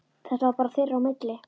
Þetta var bara þeirra á milli.